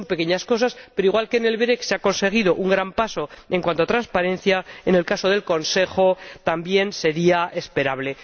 Son pequeñas cosas, pero igual que en el ORECE se ha conseguido un gran paso en cuanto a transparencia, en el caso del Consejo también sería esperable.